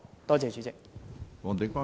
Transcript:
多謝主席。